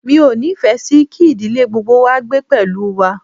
Mi ò nífẹ̀ẹ́ sì kí ìdílé gbogbo wá gbé pẹ̀lú wa.